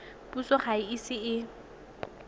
puso ga e ise e